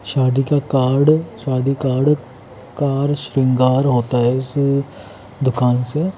शादी का कार्ड शादी कार्ड कार्ड सिंगार होता हैं स दुकान से--